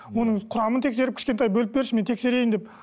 оның құрамын тексеріп кішкентай бөліп берші мен тексерейін деп